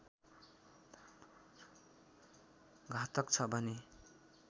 घातक छ भने